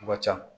Wa ca